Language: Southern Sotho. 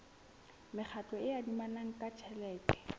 mekgatlo e adimanang ka tjhelete